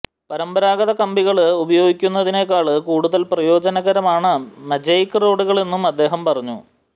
പരമ്പരാഗത കമ്പികള് ഉപയോഗിക്കുന്നതിനേക്കാള് കൂടുതല് പ്രയോജനകരമാണ് മജെക് റോഡുകളെന്നും അദ്ദേഹം പറഞ്ഞു